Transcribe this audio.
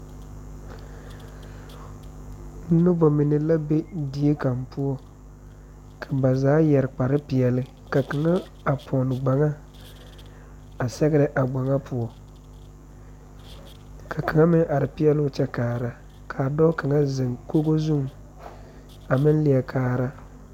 Nobɔ minevka be die kaŋ poɔ ka ba zaa yɛre kpare peɛle ka kaŋa a pɔne gbaŋa a sɛgrɛ a gbaŋa poɔ ka kaŋa meŋ are pɛɛloo kyɛ kaara ka dɔɔ kaŋa zèŋ koge zuŋ a meŋ lieɛ kaara.